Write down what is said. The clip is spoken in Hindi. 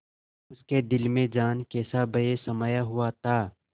उसके दिल में जाने कैसा भय समाया हुआ था